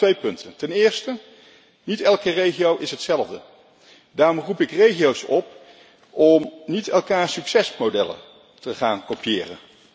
Daarom twee punten Ten eerste is niet elke regio hetzelfde. Daarom roep ik regio's op om niet elkaars succesmodellen te gaan kopiëren.